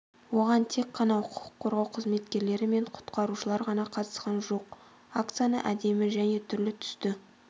оған тек қана құқық қорғау қызметкерлері мен құтқарушылар ғана қатысқан жоқ акцияны әдемі және түрлі түсті